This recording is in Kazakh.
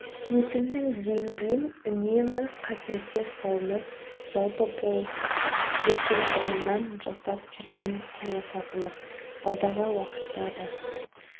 өсімнің деңгейін үнемі қаперде ұстауымыз жалпы бұл біздің бұрыннан жасап жүрген саясатымыз алдағы уақытта да